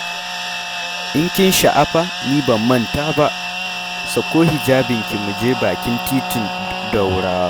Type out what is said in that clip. In kin sha'afa ni ban manta ba, sako hijabinki mu je bakin titin Ɗorawa.